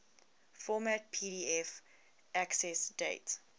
format pdf accessdate